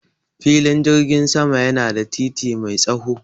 Filin jirgin sama yana da titi mai tsaho.